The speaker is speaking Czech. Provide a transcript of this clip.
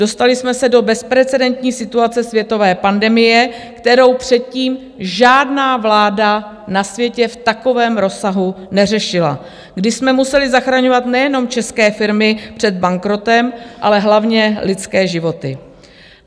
Dostali jsme se do bezprecedentní situace světové pandemie, kterou předtím žádná vláda na světě v takovém rozsahu neřešila, kdy jsme museli zachraňovat nejenom české firmy před bankrotem, ale hlavně lidské životy.